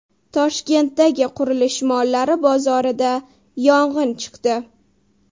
Toshkentdagi qurilish mollari bozorida yong‘in chiqdi.